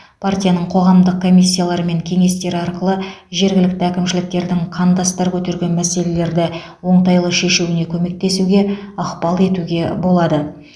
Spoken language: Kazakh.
партияның қоғамдық комиссиялары мен кеңестері арқылы жергілікті әкімшіліктердің қандастар көтерген мәселелерді оңтайлы шешуіне көмектесуге ықпал етуге болады